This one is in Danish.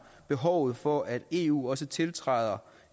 behovet for at eu også tiltræder